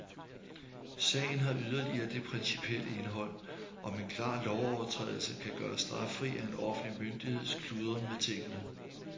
Sagen har yderligere det principielle indhold, om en klar lovovertrædelse kan gøres straffri af en offentlig myndigheds kludren med tingene.